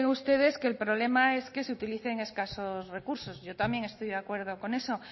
ustedes que el problema es que se utilicen escasos recursos yo también estoy de acuerdo con eso